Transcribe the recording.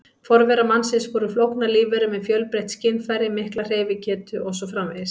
Forverar mannsins voru flóknar lífverur með fjölbreytt skynfæri, mikla hreyfigetu og svo framvegis.